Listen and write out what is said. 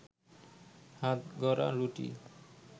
হাতগড়া রুটি